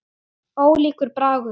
Ólíkur bragur.